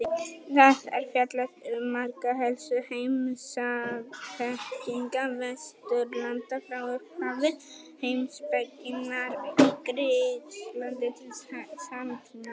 Þar er fjallað um marga helstu heimspekinga Vesturlanda frá upphafi heimspekinnar í Grikklandi til samtímans.